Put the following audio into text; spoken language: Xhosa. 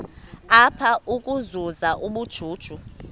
apha ukuzuza ubujuju